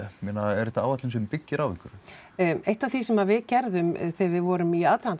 er þetta áætlun sem byggir á einhverju eitt af því sem við gerðum þegar við vorum í aðdraganda